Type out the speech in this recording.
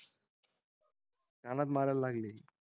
कानात मारायला लागले